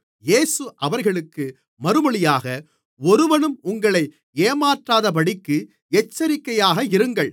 இயேசு அவர்களுக்கு மறுமொழியாக ஒருவனும் உங்களை ஏமாற்றாதபடிக்கு எச்சரிக்கையாக இருங்கள்